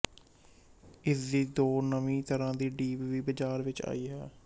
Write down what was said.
ਇਸਦੀ ਦੋ ਨਵੀਂ ਤਰਾਂ ਦੀ ਡੀਪ ਵੀ ਬਜ਼ਾਰ ਵਿੱਚ ਆਈ ਹੈ